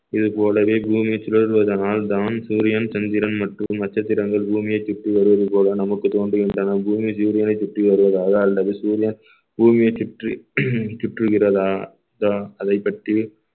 இதுபோலவே பூமி சுழல்வதனால் தான் சூரியன் சந்திரன் மற்றும் நட்சத்திரங்கள் பூமியை சுற்றி வருவது போல நமக்கு தோன்றுகின்றன பூமி சூரியனை சுற்றி வருவதாக அல்லது சூரியன் பூமியை சுற்றி சுற்றுகிறதா ~தா அதைப்பற்றி